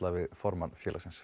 við formann félagsins